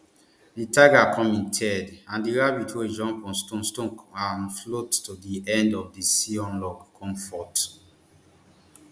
di tiger come in third and di rabbit wey jump on stones stones and float to di end of di sea on log come fourth